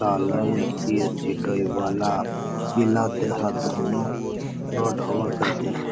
सालय सी.एच.सी डोईवाला जीला देहरादून --